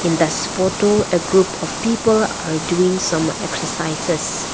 this photo a group of people are doing some exercises.